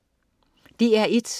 DR1: